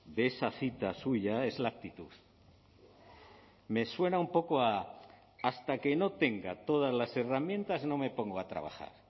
de esa cita suya es la actitud me suena un poco a hasta que no tenga todas las herramientas no me pongo a trabajar